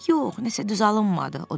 Yox, nəsə düz alınmadı, o dedi.